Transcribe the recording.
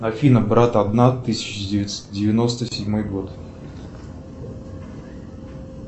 афина брат одна тысяча девятьсот девяносто седьмой год